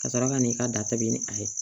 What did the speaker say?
Ka sɔrɔ ka n'i ka datugu ni a ye